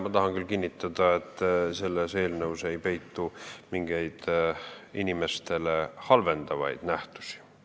Ma tahan küll kinnitada, et selles eelnõus ei peitu midagi inimestele halvasti mõjuvat.